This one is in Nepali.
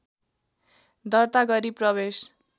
दर्ता गरी प्रवेश